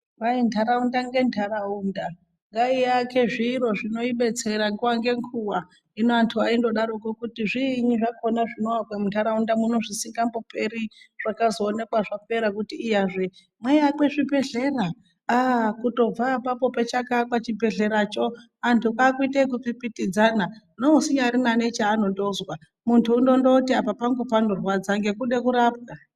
Kwai ndaraunda ngendaraunda ngaiake zviro zvinoidetsera nguva ngenguva hino antu aindodaroko kuti zviinyi zvinoakwa mundaraunda muno zvisingamboperi zvakazoonekwa zvapera kuti iyazve maiakwe zvibhedhlera aa kutobva apapo pachakaakwa chibhledhleracho antu kwakuite ekupitipidzana neusinyarina nechaanotozwa muntu unondoti apa pangu panorwara ngekude kurapwa .